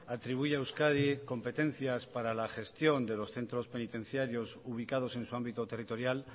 atribuye a euskadi competencias para la gestión de los centros penitenciarios ubicados en su ámbito territorial